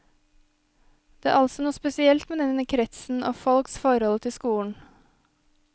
Det er altså noe spesielt med denne kretsen og folks forhold til skolen.